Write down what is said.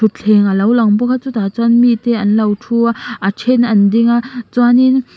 thuthleng alo lang bawk a chutah chuan mite anlo thu a a then an ding a chuanin--